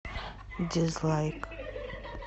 дизлайк